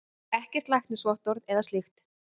Ekkert læknisvottorð eða slíkt.